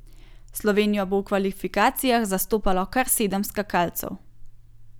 Slovenijo bo v kvalifikacijah zastopalo kar sedem skakalcev.